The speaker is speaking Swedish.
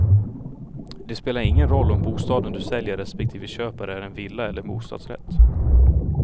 Det spelar ingen roll om bostaden du säljer respektive köper är en villa eller bostadsrätt.